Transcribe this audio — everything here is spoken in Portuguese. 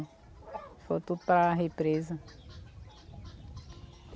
Foi tudo para represa.